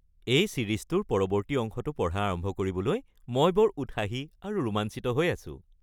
এই ছিৰিজটোৰ পৰৱৰ্তী অংশটো পঢ়া আৰম্ভ কৰিবলৈ মই বৰ উৎসাহী আৰু ৰোমাঞ্চিত হৈ আছোঁ!